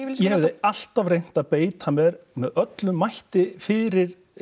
hefði alltaf reynt að beita mér með öllum mætti fyrir